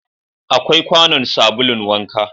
Akwai kwanon sabulun wanka